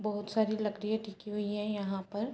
बहोत सारी लकड़ियां टिकी हुई है यहाँ पर।